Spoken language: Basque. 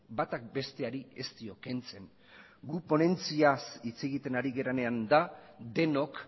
batak besteari ez dio kentzen guk ponentziaz hitz egiten ari garenean da denok